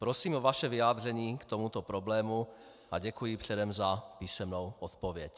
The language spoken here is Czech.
Prosím o vaše vyjádření k tomuto problému a děkuji předem za písemnou odpověď.